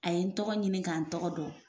A ye n tɔgɔ ɲini k'an tɔgɔ dɔn.